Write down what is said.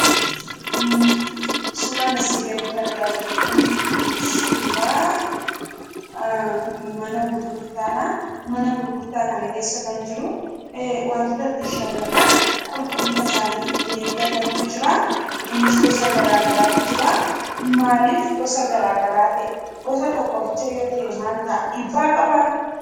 Suuraan asii gaditti argaa jirru kun suuraa mana gurgurtaadha. Mana gurgurtaa kana keessa kan jiru wantoota ittiin shamarran qulqullina isaanii ittiin eeggatantu jira. Innis gosa garaa garaatu jira. Maaliif gosa garaa garaa ta'e? Gosa tokko qofa yoo ta'e maal ta'a? Dhiibbaa qabaa?